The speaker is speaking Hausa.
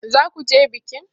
Za ku je bikin?